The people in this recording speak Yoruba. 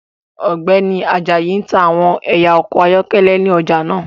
Ọgbẹni Ajayi n ta awọn ẹya ọkọ ayọkẹlẹ ni ọja naa